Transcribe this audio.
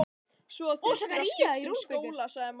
Svo þyrftirðu að skipta um skóla sagði mamma.